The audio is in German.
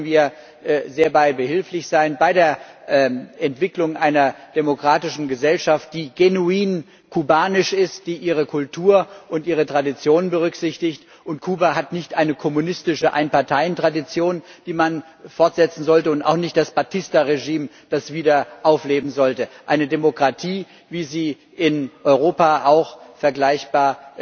Dabei können wir sehr behilflich sein bei der Entwicklung einer demokratischen Gesellschaft, die genuin kubanisch ist, die ihre Kultur und ihre Traditionen berücksichtigt. Kuba hat nicht eine kommunistische Ein Parteien Tradition, die man fortsetzen sollte, und auch nicht das Batista Regime, das wieder aufleben sollte eine Demokratie, wie sie in Europa auch in vielen Transitionsgesellschaften vergleichbar